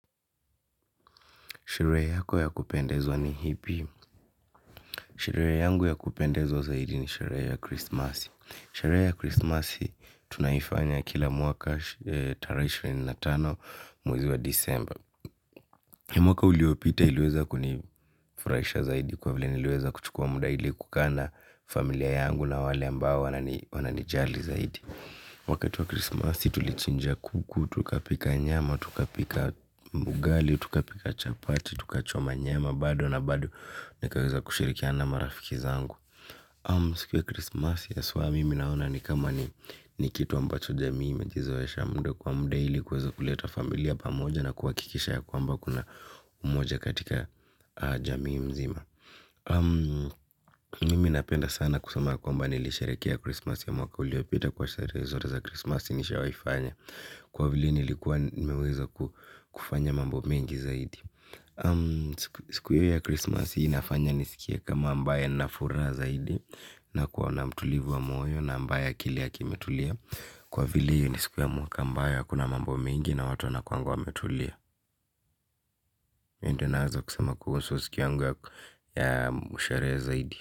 Sherehe yako ya kupendezwa ni ipi? Sherehe yangu ya kupendezwa zaidi ni sherehe ya krisimasi. Sherehe ya krisimasi tunaifanya kila mwaka tarehe ishirini na tano mwezi wa disemba. Mwaka uliopita iliweza kunifurahisha zaidi kwa vile niliweza kuchukua muda ili kukaa na familia yangu na wale ambao wananijali zaidi. Wakati wa krisimasi tulichinja kuku, tukapika nyama, tukapika ugali, tukapika chapati, tukachoma nyama. Bado na bado nikaweza kushirikiana na marafiki zangu. Siku ya krisimasi haswa mimi naona ni kama ni kitu ambacho jamii imejizoesha muda kwa muda ili kuweza kuleta familia pamoja na kuhakikisha ya kwamba kuna umoja katika jamii mzima. Mimi napenda sana kusema ya kwamba nilisherehekea Christmas ya mwaka uliopita kwa sherehe zote za Christmas nishawahi fanya. Kwa vile nilikuwa nimeweza kufanya mambo mengi zaidi. Siku hiyo ya Christmas hii inafanya nisikie kama ambaye ana furaha zaidi. Na kuwa na mtulivu wa moyo na ambaye akili yake imetulia kwa vile ni siku ya mwaka ambayo hakuna mambo mengi na watu wanakuanga wametulia. Hii ndio naweza kusema kuhusu siku yangu ya sherehe. Zaidi.